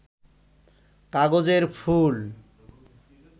কাগজের ফুল